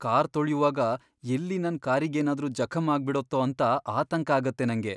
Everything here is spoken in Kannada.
ಕಾರ್ ತೊಳ್ಯುವಾಗ ಎಲ್ಲಿ ನನ್ ಕಾರಿಗೇನಾದ್ರೂ ಜಖಂ ಆಗ್ಬಿಡತ್ತೋ ಅಂತ ಆತಂಕ ಆಗತ್ತೆ ನಂಗೆ.